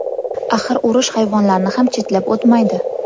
Axir urush hayvonlarni ham chetlab o‘tmaydi.